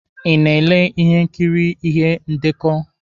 Ị na-ele ihe nkiri ihe ndekọ?